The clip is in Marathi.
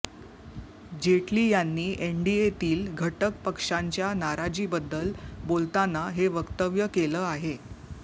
जेटली यांनी एनडीएतील घटक पक्षांच्या नाराजीबद्दल बोलताना हे वक्तव्य केलं आहे